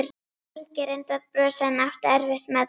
Helgi reyndi að brosa en átti erfitt með það.